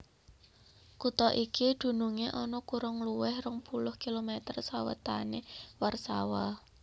Kutha iki dunungé ana kurang luwih rong puluh kilomèter sawètané Warsawa